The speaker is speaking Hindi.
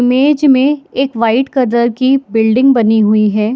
इमेज में एक वाइट कलर की बिल्डिंग बनी हुई है।